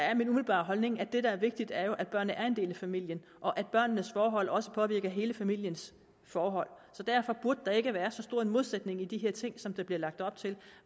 er min umiddelbare holdning at det der er vigtigt jo er at børnene er en del af familien og at børnenes forhold også påvirker hele familiens forhold derfor burde der ikke være så stor en modsætning i de her ting som der bliver lagt op til